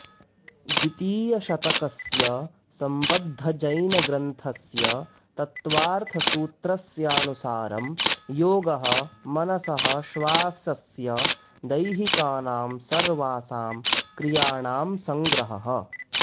द्वितीयशतकस्य सम्बद्धजैनग्रन्थस्य तत्त्वार्थसूत्रस्यानुसारं योगः मनसः श्वासस्य दैहिकानां सर्वासां क्रियाणां सङ्ग्रहः